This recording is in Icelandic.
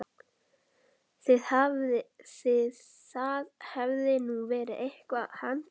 Það hefði nú verið eitthvað handa honum